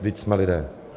Vždyť jsme lidé!